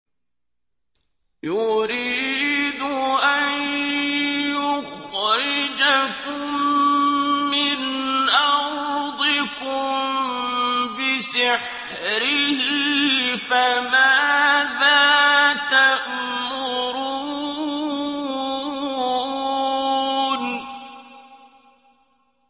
يُرِيدُ أَن يُخْرِجَكُم مِّنْ أَرْضِكُم بِسِحْرِهِ فَمَاذَا تَأْمُرُونَ